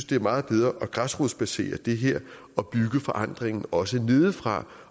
det er meget bedre at græsrodsbasere det her og bygge forandringen op også nedefra